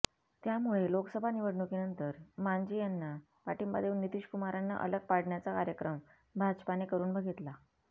त्यामुळे लोकसभा निवडणुकीनंतर मांझी यांना पाठिंबा देऊन नितीशकुमारांना अलग पाडण्याचा कार्यक्रम भाजपाने करून बघितला